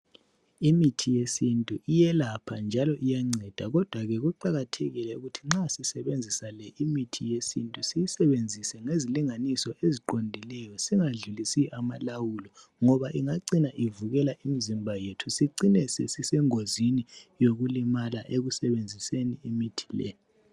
imithi yesintu iyelapha njalo iyanceda kodwa kuqhakathekile ukuthi nxa sisebenzisa imithi le yesintu siyisebenzise ngelinganiso eziqondileyo singadlulisi amalawulo ngoba ingacina ivukela imzimba yethu sicine sesisengozini yokulimala ekusebenziseni imithi ley